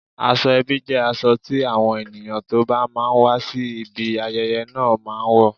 Aṣọ ebi jẹ́ aṣọ tí àwọn ènìyàn tó bá máa wá sí ibi ayẹyẹ náà máa wò